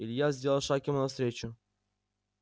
илья сделал шаг ему навстречу